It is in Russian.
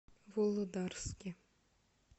володарске